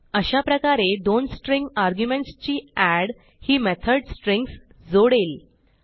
अशाप्रकारे दोन string arguments ची एड ही मेथड स्ट्रिंग्ज जोडेल